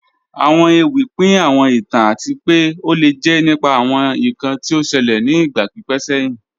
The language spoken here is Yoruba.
Awọn èwì pín àwọn ìtàn àti pẹ́ o lè jẹ́ nípà àwọn ìkàn tí ó ṣèlẹ̀ ni ìgba pípẹ̀ sẹ̀hin